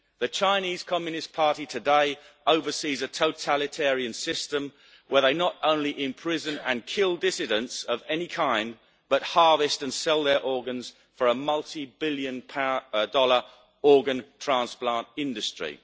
The Chinese Communist Party today oversees a totalitarian system where they not only imprison and kill dissidents of any kind, but harvest and sell their organs for a multi billion dollar organ transplant industry.